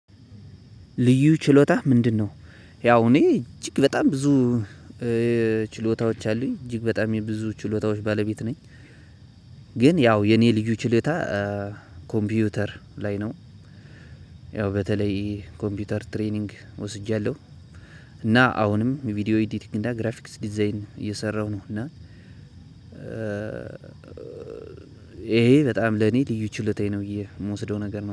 ልዩ ችሎታህ ምንድነው? ያው እኔ እጅግ በጣም ብዙ ችሎታዎች አሉኝ እጅግ በጣም የብዙ ችሎታዎች ባለቤት ነኝ። ግን ያው የኔ ልዩ ችሎታ ኮምፒውተር ላይ ነው። ያው በተለይ ኮምፒውተር ትሬኒንግ ወስጃለሁ። እና አሁንም ቪዲዮ ኤዲቲንግ እና ግራፊክስ ዲዛይን እየሰራሁ ነው እና ይሄ በጣም ለኔ ልዩ ችሎታዬ ነው የምወስደው ነገር ነው